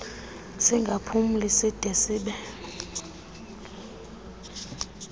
singaphumli side sibe